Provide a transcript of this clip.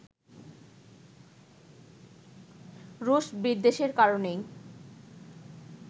রুশ বিদ্বেষের কারণেই